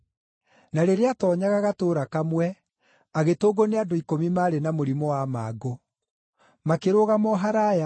Na rĩrĩa aatoonyaga gatũũra kamwe, agĩtũngwo nĩ andũ ikũmi maarĩ na mũrimũ wa mangũ. Makĩrũgama o haraaya,